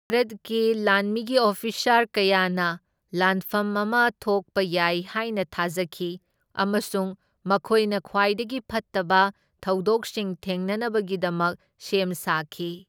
ꯚꯥꯔꯠꯀꯤ ꯂꯥꯟꯃꯤꯒꯤ ꯑꯣꯐꯤꯁꯥꯔ ꯀꯌꯥꯅ ꯂꯥꯟꯐꯝ ꯑꯃ ꯊꯣꯛꯄ ꯌꯥꯏ ꯍꯥꯢꯅ ꯊꯥꯖꯈꯤ, ꯑꯃꯁꯨꯡ ꯃꯈꯣꯏꯅ ꯈ꯭ꯋꯥꯏꯗꯒꯤ ꯐꯠꯇꯕ ꯊꯧꯗꯣꯛꯁꯤꯡ ꯊꯦꯡꯅꯅꯕꯒꯤꯗꯃꯛ ꯁꯦꯝ ꯁꯥꯈꯤ꯫